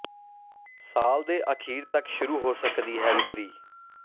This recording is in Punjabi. ਸਾਲ ਦੇ ਆਖਿਰ ਤੱਕ ਸ਼ੁਰੂ ਹੋ ਸਕਦੀ ਹੈ ਵਿਕਰੀ